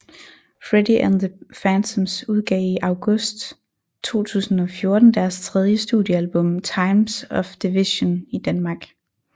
Freddy and the Phantoms udgav i august 2014 deres tredje studiealbum Times of Division i Danmark